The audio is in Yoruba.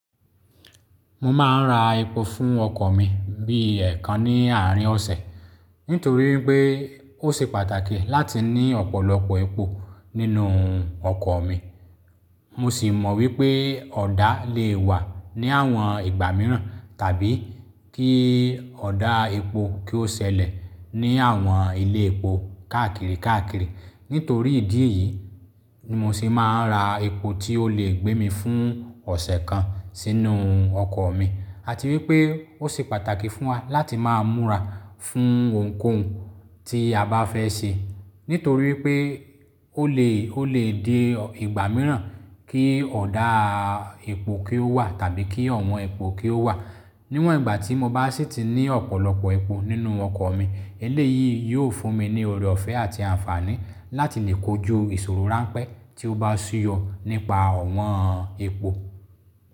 Mo máa ń ra epo fún ọkọ̀ mi bí i ẹ̀ẹ̀kan ní àárín ọ̀sẹ̀, nítorí pé ó ṣe pàtàkì láti ní ọ̀pọ̀lọpọ̀ epo nínú ọkọ̀ mi. Mo sì mọ wípé ọ̀dà lè wà ní àwọn ìgbà mìíràn tàbí kí ọ̀dà epo kí ó ṣẹlẹ̀ ní àwọn ilé epo káàkiri káàkiri. Nítorí ìdí yìí, mo sì máa ń ra epo tí ó lè gbé mi fún ọ̀sẹ̀ kan sínú ọkọ̀ mi. A ti rí pé ó ṣe pàtàkì fún wa láti máa múra fún ohunkóhun tí a bá fẹ́ ṣe, nítorí pé ó lè, ó lè di ìgbà mìíràn kí ọ̀dà epo kí ó wà tàbí kí ọ̀wọ́n epo kí ó wà. Níwọ̀n ìgbà tí mo bá sì ti ní ọ̀pọ̀lọpọ̀ epo nínú ọkọ̀ mi, eléyìí yóò fún mi ní ọrẹ ọ̀fẹ́ àti àǹfààní láti lè kojú ìṣòro ránpẹ́ tí ó bá ṣú yọ nípa ọ̀wọ́n epo.